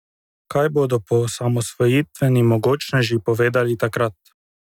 Kaj bodo poosamosvojitveni mogočneži povedali takrat?